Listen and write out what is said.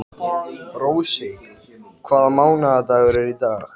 Já en það eru engir peningar til.